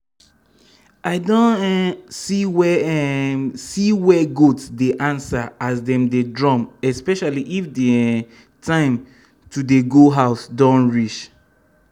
i don um see where um see where goats dey answer as dem dey drum especially if d um time to dey go house don reach. um